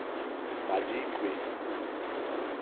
madikwe